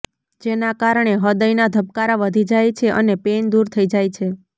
જેના કારણે હ્રદયના ધબકારા વધી જાય છે અને પેઇન દૂર થઈ જાય છે